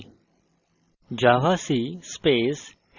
terminal ফিরে যাই